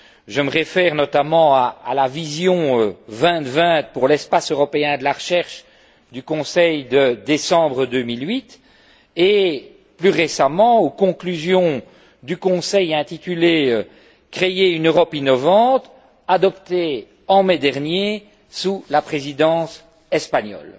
Je me réfère notamment à la vision 2020 pour l'espace européen de la recherche du Conseil de décembre 2008, et plus récemment aux conclusions du Conseil, intitulées Créer une Europe innovante, adoptées en mai dernier sous la Présidence espagnole.